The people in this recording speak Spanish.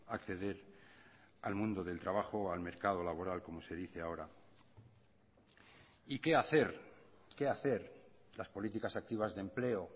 acceder al mundo del trabajo o al mercado laboral como se dice ahora y qué hacer qué hacer las políticas activas de empleo